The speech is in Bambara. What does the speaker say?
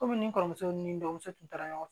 Komi ni n kɔrɔmuso ni n dɔgɔmuso tun taara ɲɔgɔn fɛ